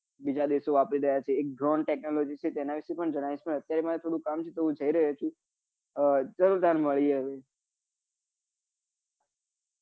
બીજા દેશો વાપરી રહ્યા છે એક drone technology છે તેના વિશે પણ જણાવીસ પણ અત્યારે મારે એક કામ છે તો હું જી રહ્યો છું ચાલો ત્યારે મળીએ હવે